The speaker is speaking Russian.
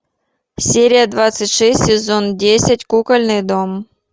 серия двадцать шесть сезон десять кукольный дом